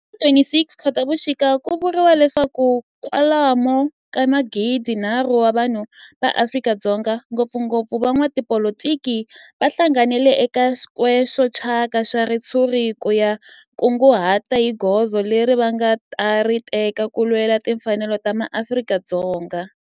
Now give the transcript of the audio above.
Hi ti 26 Khotavuxika ku vuriwa leswaku kwalomu ka magidinharhu wa vanhu va Afrika-Dzonga, ngopfungopfu van'watipolitiki va hlanganile eka square xo thyaka xa ritshuri ku ta kunguhata hi goza leri va nga ta ri teka ku lwela timfanelo ta maAfrika-Dzonga.